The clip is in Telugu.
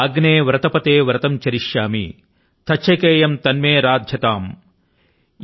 ఓమ్ అగ్నే వ్రతపతే వ్రతం చరిష్యామి తచ్ఛకేయం తన్మే రాధ్యతామ్